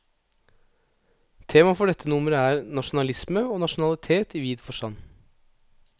Temaet for dette nummer er, nasjonalisme og nasjonalitet i vid forstand.